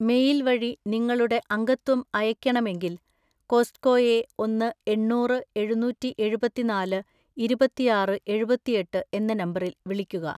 Mail വഴി നിങ്ങളുടെ അംഗത്വം അയയ്‌ക്കണമെങ്കിൽ, കോസ്റ്റ്‌കോയെ ഒന്ന് എണ്ണൂറ് എഴുന്നൂറ്റിഎഴുപത്തിനാല് ഇരുപത്തിആറ് എഴുപത്തിഎട്ട് എന്ന നമ്പറിൽ വിളിക്കുക.